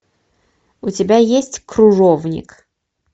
у тебя есть кружовник